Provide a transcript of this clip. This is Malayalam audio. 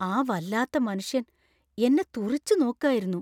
ആ വല്ലാത്ത മനുഷ്യന്‍ എന്നെ തുറിച്ചുനോക്കായിരുന്നു.